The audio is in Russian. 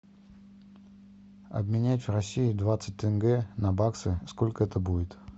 обменять в россии двадцать тенге на баксы сколько это будет